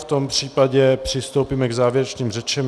V tom případě přistoupíme k závěrečným řečem.